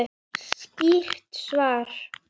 Skýrt svar!